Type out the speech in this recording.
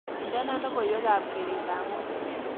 Indene logoywekab gereetab ngweny